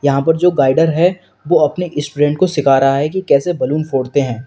यहां पर जो गाइडर है वो अपने स्टूडेंट को सीख रहा है कि कैसे बैलून फोड़ते है।